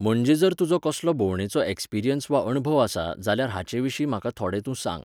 म्हणजे जर तुजो कसलो भोंवडेचो ऍक्सपिरियन्स वा अणभव आसा जाल्यार हाचे विशीं म्हाका थोडे तूं सांग